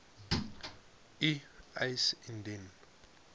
u eis indien